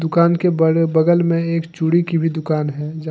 दुकान के बड़े बगल में एक चूड़ी की भी दुकान है।